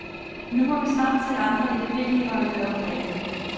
Nu må vi snart se andre edb-leverandører på banen.